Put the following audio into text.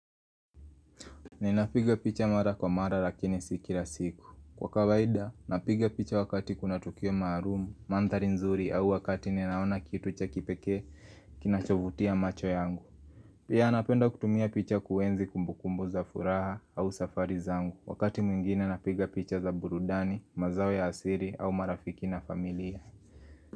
Ninapiga picha mara kwa mara lakini si kila siku Kwa kawaida, napiga picha wakati kuna tukio maalum, mandhari nzuri au wakati ninaona kitu cha kipekee kinachovutia macho yangu Pia napenda kutumia picha kuenzi kumbukumbu za furaha au safari zangu wakati mwingine napiga picha za burudani, mazao ya asili au marafiki na familia.